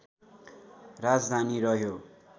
राजधानी रह्यो